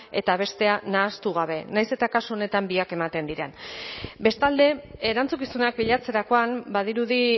eta bestea nahastu gabe nahiz eta kasu honetan biak ematen diren bestalde erantzukizunak bilatzerakoan badirudi